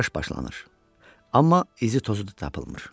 Axtarış başlanır, amma izi tozu da tapılmır.